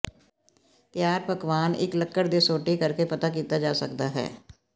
ਤਿਆਰ ਪਕਵਾਨ ਇੱਕ ਲੱਕੜ ਦੇ ਸੋਟੀ ਕਰਕੇ ਪਤਾ ਕੀਤਾ ਜਾ ਸਕਦਾ ਹੈ